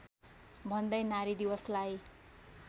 भन्दै नारी दिवसलाई